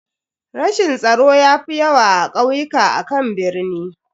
Rashin tsaro ya fi yawa a kauyuka akan birni.